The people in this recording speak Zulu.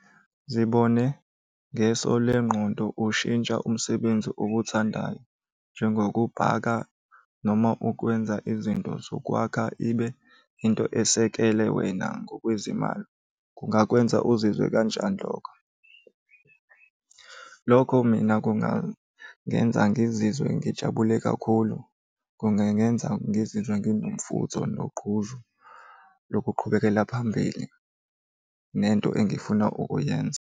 Zibone ngeso lengqondo ushintsha umsebenzi okuthandayo njengokubhaka noma ukwenza izinto zokwakha ibe into esekele wena ngokwezimali. Kungakwenza uzizwe kanjani lokho? Lokho mina kungangenza ngizizwe ngijabule kakhulu, kungangenza ngizizwe nginomfutho nogqozi lokuqhubekela phambili nento engifuna ukuyenza.